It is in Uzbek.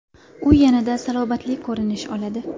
U yanada salobatli ko‘rinish oladi .